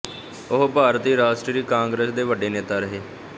ਉਹ ਭਾਰਤੀ ਰਾਸ਼ਟਰੀ ਕਾਂਗਰਸ ਦੇ ਵੱਡੇ ਨੇਤਾ ਰਹੇ